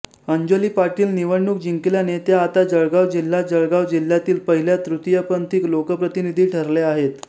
अंजली पाटील निवडणूक जिंकल्याने त्या आता जळगाव जिल्हाजळगाव जिल्ह्यातील पहिल्या तृतीयपंथी लोकप्रतिनिधी ठरल्या आहेत